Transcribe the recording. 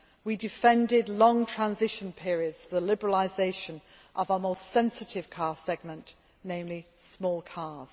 We defended long transition periods for the liberalisation of our most sensitive car segment, namely small cars.